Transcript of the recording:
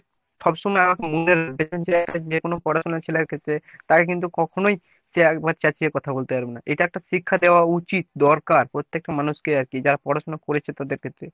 সব সময় আমাকে মনে দেখেন যে একটা যেকোনো পড়াশোনা ছেলের ক্ষেত্রে তাকে কিন্তু কখনই সে একবারে চেঁচিয়ে কথা বলতে পারে না। এটা একটা শিক্ষা দেওয়া উচিত দরকার প্রত্যেকটা মানুষ কে আরকি যারা পড়াশোনা করেছে তাদের ক্ষেত্রে